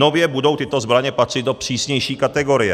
Nově budou tyto zbraně patřit do přísnější kategorie.